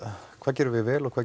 hvað gerum við vel og hvað